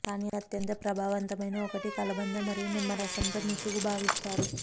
కానీ అత్యంత ప్రభావవంతమైన ఒకటి కలబంద మరియు నిమ్మ రసం తో ముసుగు భావిస్తారు